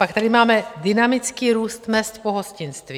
Pak tady máme dynamický růst mezd v pohostinství.